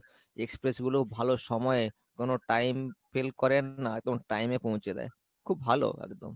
express গুলো ভালো সময়ে কোনো time fail করে না একদম time এ পৌঁছে দেয়, খুব ভাল একদম ।